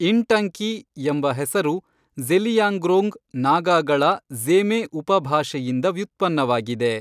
ಇಂಟಂಕಿ, ಎಂಬ ಹೆಸರು ಜ಼ೆಲಿಯಾಂಗ್ರೋಂಗ್ ನಾಗಾಗಳ ಜ಼ೇಮೇ ಉಪಭಾಷೆಯಿಂದ ವ್ಯುತ್ಪನ್ನವಾಗಿದೆ.